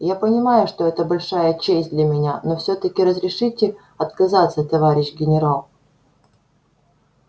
я понимаю что это большая честь для меня но все таки разрешите отказаться товарищ генерал